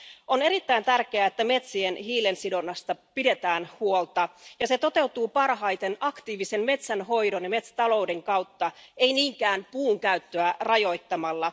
On erittäin tärkeää, että metsien hiilensidonnasta pidetään huolta, ja se toteutuu parhaiten aktiivisen metsänhoidon ja metsätalouden kautta, ei niinkään puun käyttöä rajoittamalla.